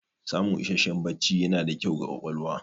Samun isasshen bacci yana da kyau ga ƙwaƙwalwa.